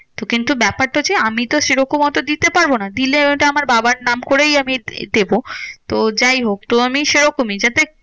তো কিন্তু ব্যাপারটা হচ্ছে, আমিতো সেরকম অত দিতে পারবো না। দিলে ওইটা আমার বাবার নাম করেই আমি দেবো। তো যাইহোক তো আমি সেরকমই যাতে